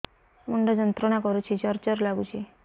ମୁଣ୍ଡ ଯନ୍ତ୍ରଣା କରୁଛି ଜର ଜର ଲାଗୁଛି